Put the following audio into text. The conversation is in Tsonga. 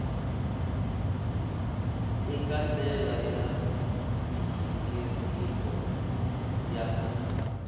eka ndlela ya mighiniriko ya